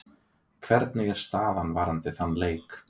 Hvernig er staðan varðandi þann leik?